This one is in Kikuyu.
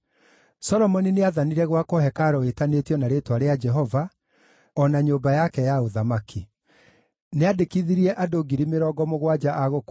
Solomoni nĩathanire gwakwo hekarũ ĩtanĩtio na Rĩĩtwa rĩa Jehova, o na kwĩyakĩra nyũmba yake ya ũthamaki.